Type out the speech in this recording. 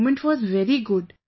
That moment was very good